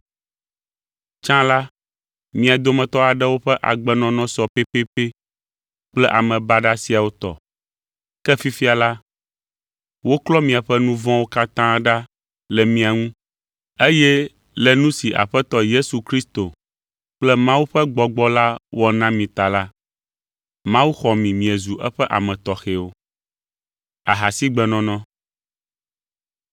Tsã la, mia dometɔ aɖewo ƒe agbenɔnɔ sɔ pɛpɛpɛ kple ame baɖa siawo tɔ. Ke fifia la, woklɔ miaƒe nu vɔ̃wo katã ɖa le mia ŋu eye le nu si Aƒetɔ Yesu Kristo kple Mawu ƒe Gbɔgbɔ la wɔ na mi ta la, Mawu xɔ mi miezu eƒe ame tɔxɛwo.